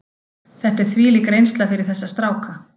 Þetta er þvílík reynsla fyrir þessa stráka.